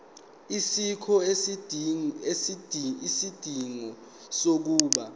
asikho isidingo sokuba